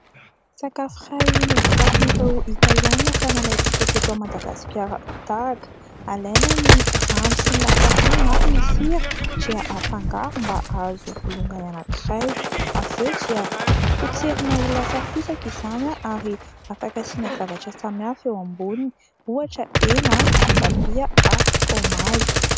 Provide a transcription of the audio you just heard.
Sakafo iray novokarin'ireo Italiana, ka nalaintsika teto Madagasikara tahaka, alaina ny rano sy ny lafarinina ary ny sira dia afangaro, mba hahazo bolongany anankiray; avy eo dia potserina ho lasa fisaka izany ary afaka asiana zavatra samy hafa eo amboniny, ohatra : hena ,voatabia ary frômazy.